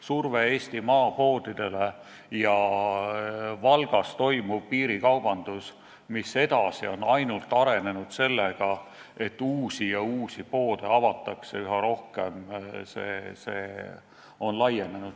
Surve Eesti maapoodidele ja Valgas toimuv piirikaubandus on ainult edasi arenenud, sest avatakse üha rohkem uusi ja uusi poode.